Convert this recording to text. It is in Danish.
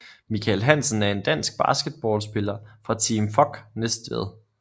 Mikael Hansen er en dansk basketballspiller fra Team FOG Næstved